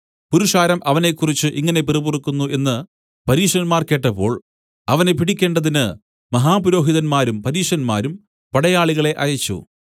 പുരുഷാരം അവനെക്കുറിച്ച് ഇങ്ങനെ പിറുപിറുക്കുന്നു എന്നു പരീശന്മാർ കേട്ടപ്പോൾ അവനെ പിടിക്കേണ്ടതിന് മഹാപുരോഹിതന്മാരും പരീശന്മാരും പടയാളികളെ അയച്ചു